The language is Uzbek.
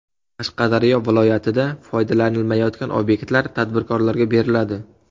Qashqadaryo viloyatida foydalanilmayotgan obyektlar tadbirkorlarga beriladi.